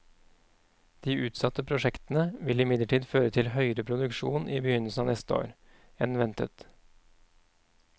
De utsatte prosjektene vil imidlertid føre til høyere produksjon i begynnelsen av neste år, enn ventet.